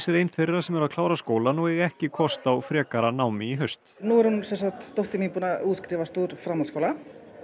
er ein þeirra sem eru að klára skólann og eiga ekki kost á frekara námi í haust nú er dóttir mín búin að útskrifast úr framhaldsskóla